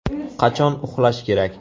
Qachon uxlash kerak?